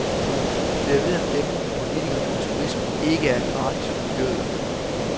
Det er ved at dæmre for politikerne at turisme ikke er gratis for miljøet.